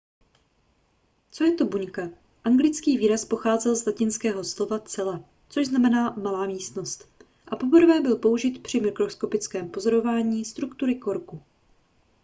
co je to buňka anglický výraz pochází z latinského slova cella což znamená malá místnost a poprvé byl použit při mikroskopickém pozorování struktury korku